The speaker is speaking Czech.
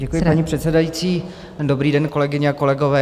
Děkuji, paní předsedající, dobrý den, kolegyně a kolegové.